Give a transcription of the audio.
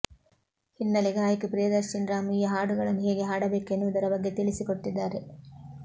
ಹಿನ್ನಲೆ ಗಾಯಕಿ ಪ್ರಿಯದರ್ಶನಿ ರಾಮ್ ಈ ಹಾಡುಗಳನ್ನು ಹೇಗೆ ಹಾಡಬೇಕು ಎನ್ನುವುದರ ಬಗ್ಗೆ ತಿಳಿಸಿಕೊಟ್ಟಿದ್ದಾರೆ